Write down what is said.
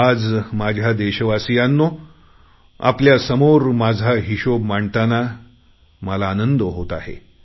आज माझ्या देशवासियांनो आपल्यासमोर माझा हिशोब मांडताना मला आनंद होतो आहे